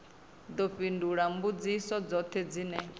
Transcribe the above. ḓo fhindula mbudziso dzoṱhe dzine